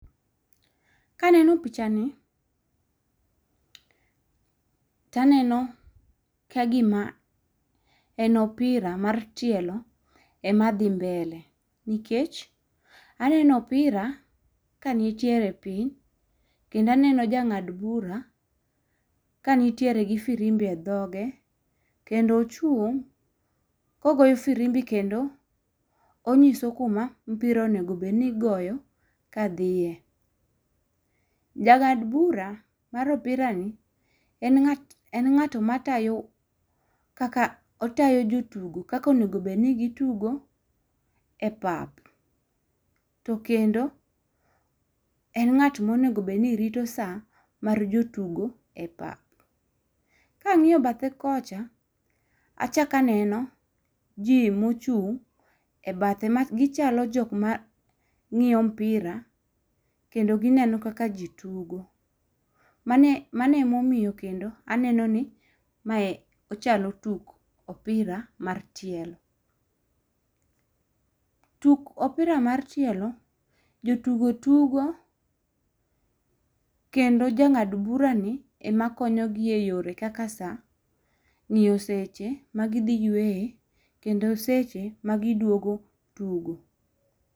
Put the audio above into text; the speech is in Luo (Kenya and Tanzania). Kaneno pichani, taneno ka gima en opira mar tielo ema dhi mbele ,nikech aneno opira ka nitiere piny, kendo aneno ja ng'ad bura ka nitiere gi firimbi e dhoge, kendo ochung' kogoyo firimbi kendo onyiso kuma opira onego obed ni igoyo kadhiye. Ja ng'ad bura mar opirani ,en ng'at matayo jotugo kaka onego obed ni gitugo e pap. To Kendo en ng'at monego bedni rito sa mar jotugo e pap. Kang'iyo bathe kocha, achako aneno ji mochung' e bathe gichalo jok mang'iyo mpira kendo gineno kaka ji tugo. Mano emomiyo kendo aneno ni mae ochalo tuk opira mar tielo. Tuk opira mar tielo, joyugo tugo, kendo jang'ad burani ema konyogi e yore kaka ng'iyo seche magidhi yweyoe ,kendo seche magidwogo tugo.